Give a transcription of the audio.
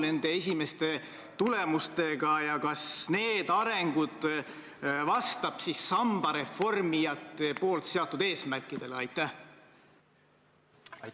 No istuvat ministrit ei panda, kuigi siin Riigikogus on natuke teistsugune traditsioon, aga ma arvan, et Stenbocki majas ei pea see nii olema.